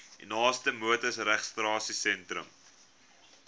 u naaste motorvoertuigregistrasiesentrum